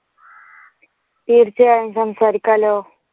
തീർച്ചയായും സംസാരിക്കാല്ലോ.